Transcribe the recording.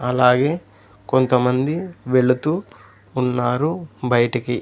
అలాగే కొంతమంది వెళుతూ ఉన్నారు బయటికి.